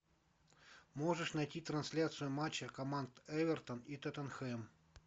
можешь найти трансляцию матча команд эвертон и тоттенхэм